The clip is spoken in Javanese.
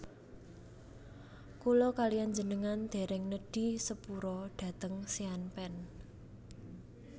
Kula kaliyan njenengan dereng nedhi sepura dhateng Sean Penn